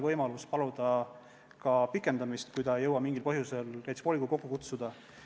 Vallale jääb võimalus paluda ka pikendamist, kui ta ei jõua mingil põhjusel näiteks volikogu kokku kutsuda.